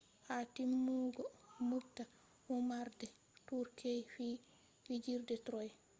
ha timmugo moobta womarde turkey fiji fijirde troy